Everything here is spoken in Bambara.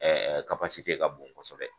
ka bon kosɛbɛ.